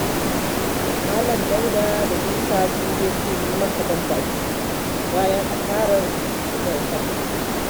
Malam Dauda da Isa sun je sun yi masa ban baki bayan asarar da ya tafka